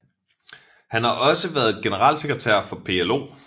Han har også været generalsekretær for PLO